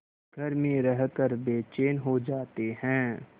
घर में रहकर बेचैन हो जाते हैं